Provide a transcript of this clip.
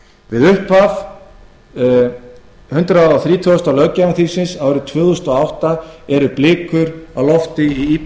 ráðinn við upphaf hundrað þrítugasta og sjötta löggjafarþings árið tvö þúsund og átta eru blikur á lofti í